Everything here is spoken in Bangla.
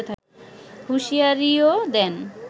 হুঁশিয়ারিও দেন